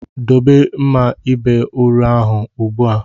Dobe mma ịba uru ahụ ugbu a!